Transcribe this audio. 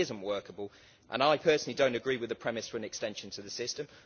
It is not workable and I personally do not agree with the premise for an extension to the system.